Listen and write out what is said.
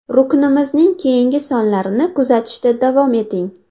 Ruknimizning keyingi sonlarini kutishda davom eting.